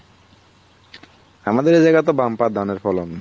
আমাদের এই জাগাতে বাম্পার ধানের ফলন